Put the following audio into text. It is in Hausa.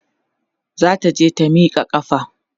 zata je ta Mika ƙafa